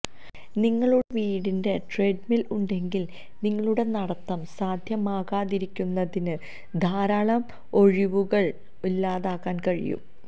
നിങ്ങളുടെ വീടിന്റെ ട്രഡ്മിൽ ഉണ്ടെങ്കിൽ നിങ്ങളുടെ നടത്തം സാധ്യമാകാതിരിക്കുന്നതിന് ധാരാളം ഒഴികഴിവുകൾ ഇല്ലാതാക്കാൻ കഴിയും